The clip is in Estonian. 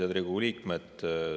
Head Riigikogu liikmed!